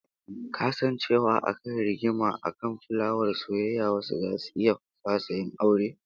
Ka san cewa akan rigima akan fulawar soyayya wasu zasu iya fasa yin aure?